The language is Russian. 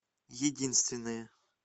единственные